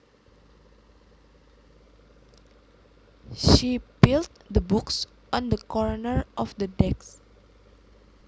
She piled the books on the corner of the desk